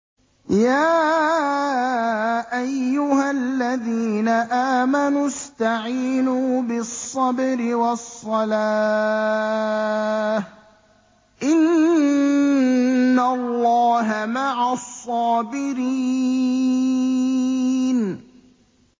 يَا أَيُّهَا الَّذِينَ آمَنُوا اسْتَعِينُوا بِالصَّبْرِ وَالصَّلَاةِ ۚ إِنَّ اللَّهَ مَعَ الصَّابِرِينَ